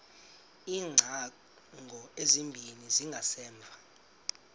iingcango ezimbini zangasemva